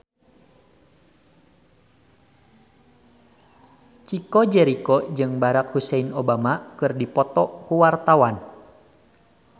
Chico Jericho jeung Barack Hussein Obama keur dipoto ku wartawan